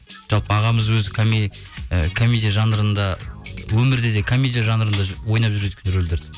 жалпы ағамыз өзі і комедия жанрында өмірде де комедия жанрында ойнап жүреді екен рөлдерді